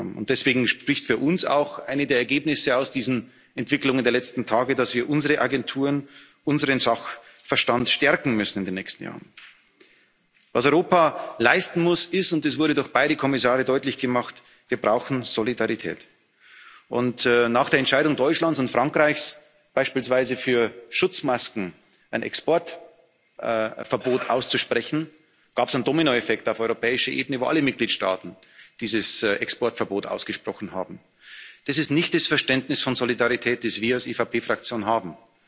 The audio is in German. Und deswegen spricht für uns auch eines der Ergebnisse aus diesen Entwicklungen der letzten Tage dafür, dass wir unsere Agenturen, unseren Sachverstand in den nächsten Jahren stärken müssen. Was Europa leisten muss, ist und das wurde durch beide Kommissare deutlich gemacht Wir brauchen Solidarität. Nach der Entscheidung Deutschlands und Frankreichs, beispielsweise für Schutzmasken ein Exportverbot auszusprechen, gab es einen Dominoeffekt auf europäischer Ebene, wo alle Mitgliedstaaten dieses Exportverbot ausgesprochen haben. Das ist nicht das Verständnis von Solidarität, das wir als EVP Fraktion